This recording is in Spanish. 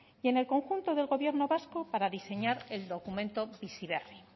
y en el conjunto del gobierno vasco para diseñar el documento bizi berri